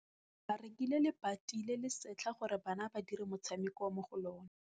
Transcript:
Ba rekile lebati le le setlha gore bana ba dire motshameko mo go lona.